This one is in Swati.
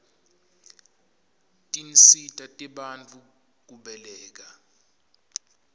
tinsita tebantfu kubeleka